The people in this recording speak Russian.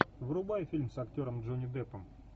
врубай фильм с актером джонни дэппом